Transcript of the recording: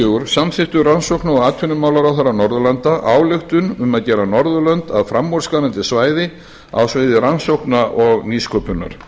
fjögurra samþykktu rannsókna og atvinnumálaráðherrar norðurlanda ályktun um að gera norðurlönd að framúrskarandi svæði á sviði rannsókna og nýsköpunar